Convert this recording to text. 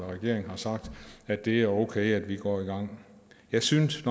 regeringen har sagt at det er okay at vi går i gang jeg synes